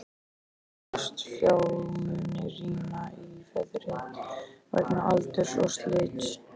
Sumir fastafjármunir rýrna í verði vegna aldurs og slits.